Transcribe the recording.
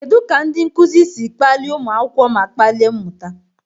Kedu ka ndị nkuzi si kpalie ụmụ akwụkwọ ma kpalie mmụta?